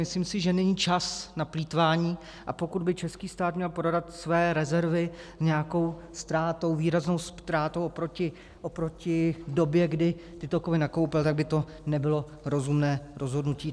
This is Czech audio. Myslím si, že není čas na plýtvání, a pokud by český stát měl prodat své rezervy s nějakou ztrátou, výraznou ztrátou oproti době, kdy tyto kovy nakoupil, tak by to nebylo rozumné rozhodnutí.